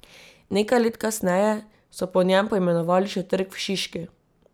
Nekaj let kasneje so po njem poimenovali še trg v Šiški.